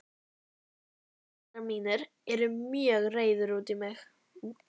Tengdaforeldrar mínir eru mjög reiðir út í mig.